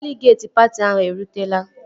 Deligeetị patị ahụ erutela